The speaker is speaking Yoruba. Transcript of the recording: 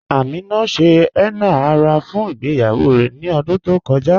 Amina ṣẹ̀ henna ara fún ìgbèyawó rè ní ọ̀dún tó kọja.